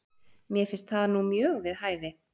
Mér finnst það nú mjög við hæfi?